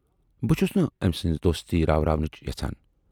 بہٕ چھَس نہٕ ٲمۍ سٕنز دوستی راوٕرٕنۍ یَژھان۔